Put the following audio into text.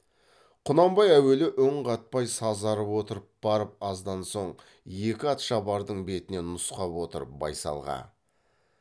құнанбай әуелі үн қатпай сазарып отырып барып аздан соң екі атшабардың бетіне нұсқап отырып байсалға